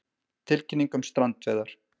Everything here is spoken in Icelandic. Tilkynning um strandveiðar